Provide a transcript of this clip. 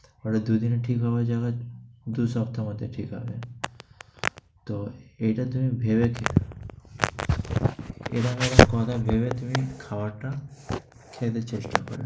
ওটা দুই দিনে ঠিক হয়ে যাবে, দুই সপ্তাহর মধ্যে ঠিক হবে। তো এটা তুমি ভেবে কথা ভেবে তুমি খাবারটা খেতে চেষ্টা করবে।